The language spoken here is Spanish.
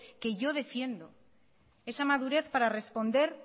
que yo defiendo esa madurez para responder